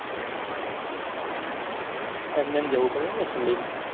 એમ નેમ જવું પડે એમ ને ઠંડી માં